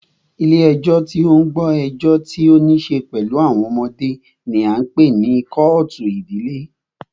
Ilé ẹjọ́ tí o ń gbọ́ ẹjọ́ tí o níṣe pẹlú àwọn ọmọdé ní a ń pé ní kọ́ọ̀tù ìdílé.